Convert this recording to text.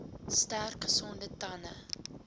sterk gesonde tande